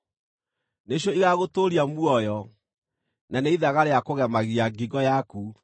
nĩcio igaagũtũũria muoyo, na nĩ ithaga rĩa kũgemagia ngingo yaku.